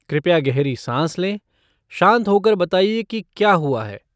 कृपया गहरी सांस लें, शान्त हो कर बताइए कि क्या हुआ है।